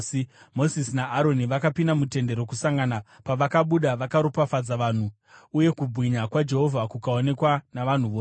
Mozisi naAroni vakapinda muTende Rokusangana. Pavakabuda vakaropafadza vanhu, uye kubwinya kwaJehovha kukaonekwa navanhu vose.